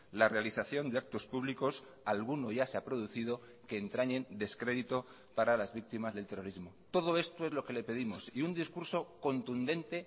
la realización de actos públicos alguno ya se ha producido que entrañen descrédito para las víctimas del terrorismo todo esto es lo que le pedimos y un discurso contundente